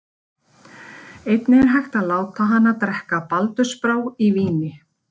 Einnig er hægt að láta hana drekka baldursbrá í víni.